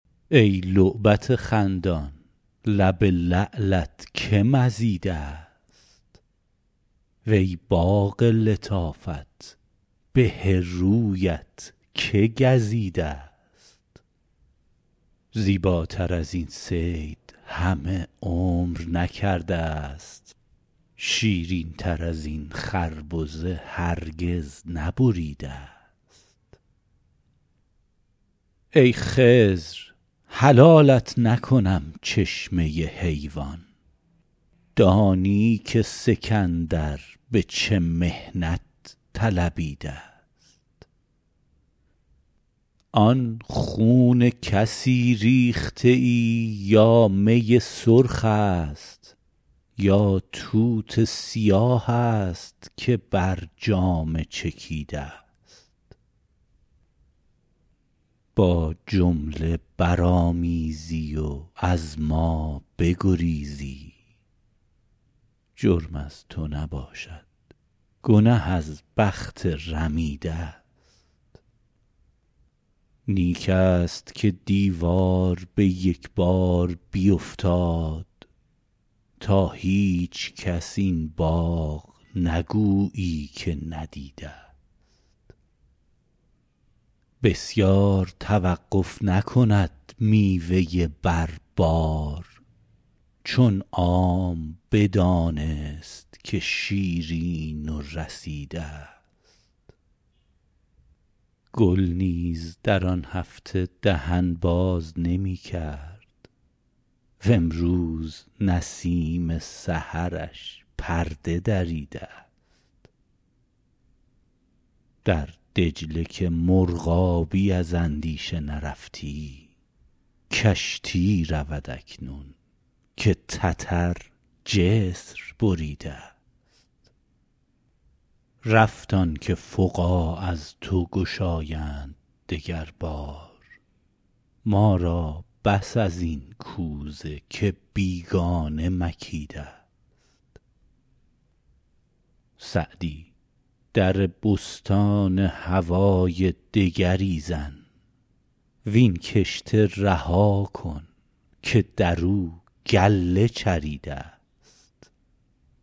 ای لعبت خندان لب لعلت که مزیده ست وی باغ لطافت به رویت که گزیده ست زیباتر از این صید همه عمر نکرده ست شیرین تر از این خربزه هرگز نبریده ست ای خضر حلالت نکنم چشمه حیوان دانی که سکندر به چه محنت طلبیده ست آن خون کسی ریخته ای یا می سرخ است یا توت سیاه است که بر جامه چکیده ست با جمله برآمیزی و از ما بگریزی جرم از تو نباشد گنه از بخت رمیده ست نیک است که دیوار به یک بار بیفتاد تا هیچکس این باغ نگویی که ندیده ست بسیار توقف نکند میوه بر بار چون عام بدانست که شیرین و رسیده ست گل نیز در آن هفته دهن باز نمی کرد وامروز نسیم سحرش پرده دریده ست در دجله که مرغابی از اندیشه نرفتی کشتی رود اکنون که تتر جسر بریده ست رفت آن که فقاع از تو گشایند دگر بار ما را بس از این کوزه که بیگانه مکیده ست سعدی در بستان هوای دگری زن وین کشته رها کن که در او گله چریده ست